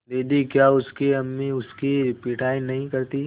दीदी क्या उसकी अम्मी उसकी पिटाई नहीं करतीं